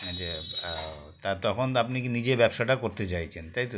আচ্ছা বা তা তখন আপনি কি নিজে ব্যবসাটা করতে চাইছেন তাই তো